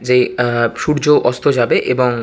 যে আ- সূর্য অস্ত যাবে এবং--